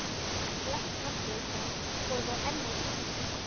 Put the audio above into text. En flest handrit hans voru þá enn á Íslandi.